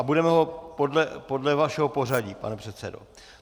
A budeme ho podle vašeho pořadí, pane předsedo.